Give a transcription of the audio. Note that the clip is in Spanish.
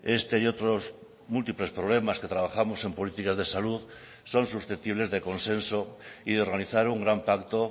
este y otros múltiples problemas que trabajamos en políticas de salud son susceptibles de consenso y de organizar un gran pacto